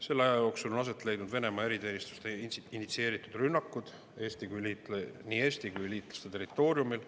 Selle aja jooksul on aset leidnud Venemaa eriteenistuste initsieeritud rünnakud nii Eesti kui ka meie liitlaste territooriumil.